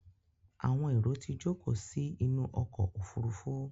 Àwọn èrò tí jókòó sí inú ọkọ̀ òfurufú.